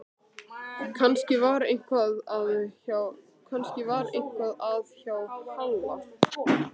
Kannski var eitthvað að hjá Halla.